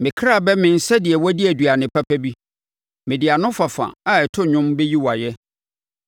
Me ɔkra bɛmee sɛdeɛ wadi aduane papa bi; mede anofafa a ɛto dwom bɛyi wo ayɛ.